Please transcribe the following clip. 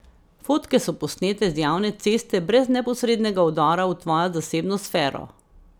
Fotke so posnete z javne ceste brez neposrednega vdora v tvojo zasebno sfero.